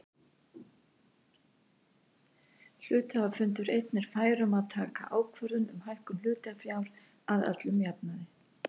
Hluthafafundur einn er fær um að taka ákvörðun um hækkun hlutafjár að öllum jafnaði.